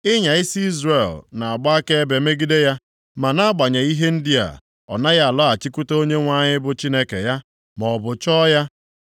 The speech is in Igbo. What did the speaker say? Ịnya isi Izrel na-agba akaebe megide ya ma nʼagbanyeghị ihe ndị a ọ naghị alọghachikwute Onyenwe anyị bụ Chineke ya, maọbụ chọọ ya.